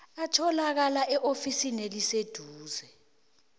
atholakala eofisini eliseduze